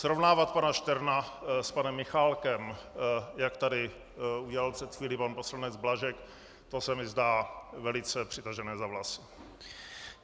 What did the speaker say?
Srovnávat pana Šterna s panem Michálkem, jak tady udělal před chvílí pan poslanec Blažek, to se mi zdá velice přitažené za vlasy.